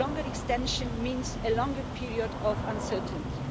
A longer extension means a longer period of uncertainty.